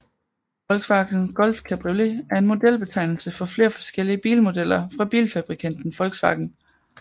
Volkswagen Golf Cabriolet er en modelbetegnelse for flere forskellige bilmodeller fra bilfabrikanten Volkswagen